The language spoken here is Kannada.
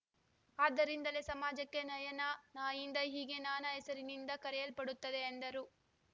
ಆದ್ದರಿಂದಲೇ ಸಮಾಜಕ್ಕೆ ನಯನ ನಾಯಿಂದ ಹೀಗೆ ನಾನಾ ಹೆಸರಿನಿಂದ ಕರೆಯಲ್ಪಡುತ್ತದೆ ಎಂದರು